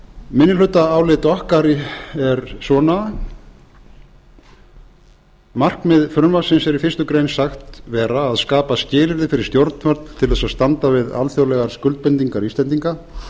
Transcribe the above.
minnihlutaálit okkar er svona markmið frumvarpsins er í fyrstu greinar sagt vera að skapa skilyrði fyrir stjórnvöld til þess að standa við alþjóðlegar skuldbindingar íslendinga